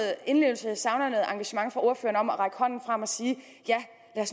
indlevelse jeg savner noget engagement fra ordføreren til at række hånden frem og sige ja lad